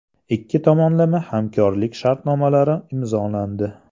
Ikki tomonlama hamkorlik sharnomalari imzolandi.